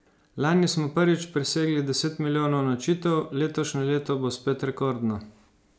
Lani smo prvič presegli deset milijonov nočitev, letošnje leto bo spet rekordno.